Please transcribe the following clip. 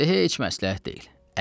Dedi, heç məsləhət deyil.